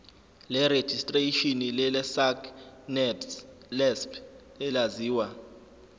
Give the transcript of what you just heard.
lerejistreshini lesacnasp elaziwa